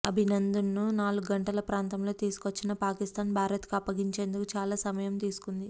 అభినందన్ను నాలుగు గంటల ప్రాంతంలో తీసుకొచ్చిన పాకిస్తాన్ భారత్కు అప్పగించేందుకు చాలా సమయం తీసుకుంది